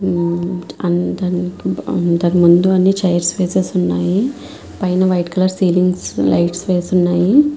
ఆ దాని ముందూ అని చైర్స్ వేసేసి వున్నాయ్. పైన వైట్ కలర్ సిలింగ్స్ లైట్స్ వేసి వునాయ్.